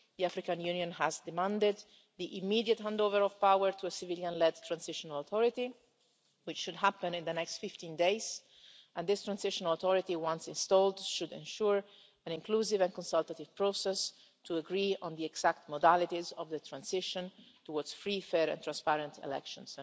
The African Union has demanded the immediate handover of power to a civilian led transitional authority, which should happen in the next 15 days, and this transitional authority, once installed, should ensure an inclusive and consultative process to agree on the exact modalities of the transition towards free, fair and transparent elections.